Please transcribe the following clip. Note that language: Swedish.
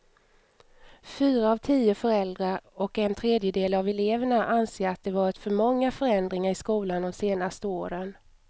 Fyra av tio föräldrar och en tredjedel av eleverna anser att det varit för många förändringar i skolan de senaste åren.